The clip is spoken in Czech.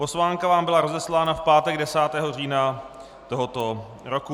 Pozvánka vám byla rozeslána v pátek 10. října tohoto roku.